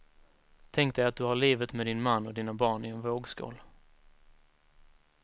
Tänk dig att du har livet med din man och dina barn i en vågskål.